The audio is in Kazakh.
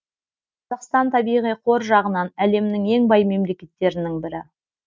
қазақстан табиғи қор жағынан әлемнің ең бай мемлекеттерінің бірі